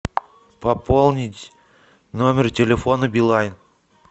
пополнить номер телефона билайн